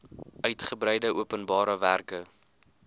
uigebreide openbare werke